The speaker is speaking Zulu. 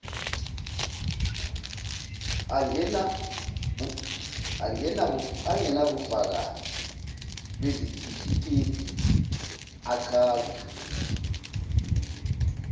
angenabufakazi bezitifiketi achaza